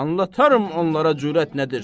Anlataram onlara cürət nədir.